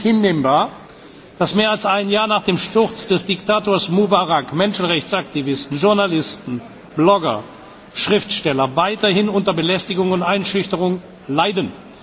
Es ist nicht hinnehmbar, dass mehr als ein Jahr nach dem Sturz des Diktators Mubarak Menschenrechtsaktivisten, Journalisten, Blogger und Schriftsteller weiterhin unter Belästigungen und Einschüchterungen leiden.